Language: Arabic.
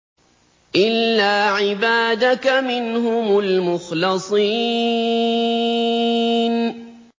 إِلَّا عِبَادَكَ مِنْهُمُ الْمُخْلَصِينَ